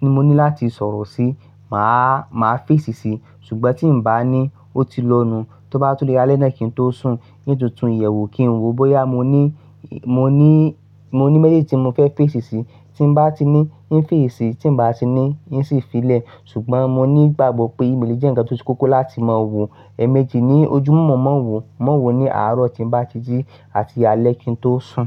tí mo ní láti sọ̀rọ̀ sí, màá, màá fésì sí i, ṣùgbọ́n tí ǹ bá ní ó ti lọnu, tó bá tó dé alẹ́ náà kí n tó sùn, nítòótó ìyẹ̀wù kí n wò bóyá mo ní, mó ní, mó ní mésèjì tí mo fẹ́ fésì sí, tí mó bá ti ní, ń fèsì, tí mó bá ti ní, ń sì fí sílẹ̀. Ṣùgbọ́n mó ní ìgbàgbọ́ pé ímélì jẹ́ ǹkan tó ṣe kókó láti mọ̀ wò, ẹmẹjì ní ojúmọ́ mọ́ wò, mọ́ wò ní àárọ̀ tí mo bá ti jí àti alẹ́ kí n tó sùn.